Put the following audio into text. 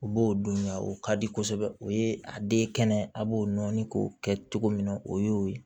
U b'o dun wa o ka di kosɛbɛ o ye a den kɛnɛ a b'o nɔɔni k'o kɛ cogo min na o y'o ye